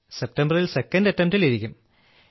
സെപ്റ്റംബറിൽ second attempt ൽ ഇരിക്കും